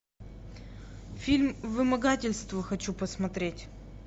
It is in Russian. фильм вымогательство хочу посмотреть